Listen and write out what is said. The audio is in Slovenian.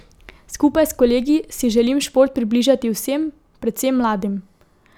Skupaj s kolegi si želim šport približati vsem, predvsem mladim.